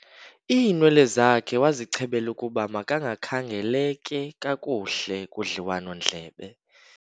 Iiinwele zakhe wazichebela ukuba makakhangeleke kakuhle kudliwanondlebe.